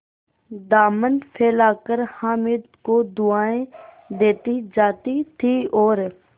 दामन फैलाकर हामिद को दुआएँ देती जाती थी और